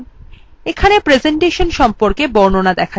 এখানে প্রেসেন্টেশন সম্পর্কে বর্ণনা দেখা যাচ্ছে